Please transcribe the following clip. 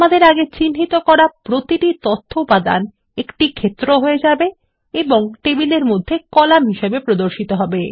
আমাদের আগে চিহ্নিত করা প্রতিটি তথ্য উপাদান একটি ক্ষেত্র হয়ে যাবে এবং টেবিলের মধ্যে কলাম হিসাবে প্রদর্শিত হবে